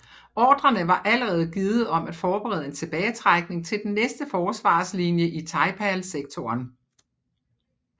Ordrerne var allerede givet om at forberede en tilbagetrækning til den næste forsvarslinje i Taipale sektoren